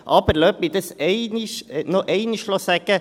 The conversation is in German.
Aber lassen Sie mich dies noch einmal sagen: